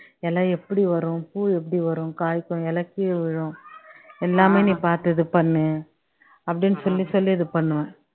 இலை எப்படி வரும் பூ எப்படி வரும் காய்க்கும் இலை விழும் எல்லாமே நீ பார்த்து இது பண்ணு அப்படின்னு சொல்லி சொல்லி இது பண்ணுவேன்